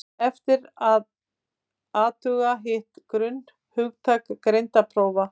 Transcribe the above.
eftir er að athuga hitt grunnhugtak greindarprófa